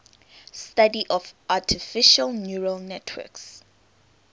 the study of artificial neural networks